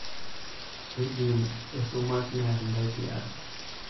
kiidim esumash niarr intae tiaji